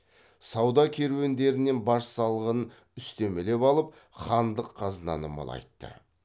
сауда керуендерінен баж салығын үстемелеп алып хандық қазынаны молайтты